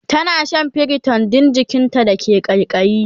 tana Shan priton Dan jikinta da ke kaikayi